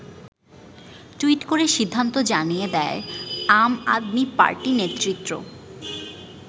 Tweet করে সিদ্ধান্ত জানিয়ে দেয় আম আদমি পার্টি নেতৃত্ব।